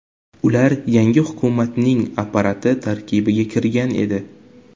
Ular yangi hukumatning apparati tarkibiga kirgan edi.